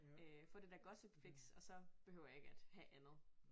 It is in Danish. Øh få det der gossipfix og så behøver jeg ikke at have andet